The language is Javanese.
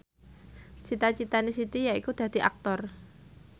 cita citane Siti yaiku dadi Aktor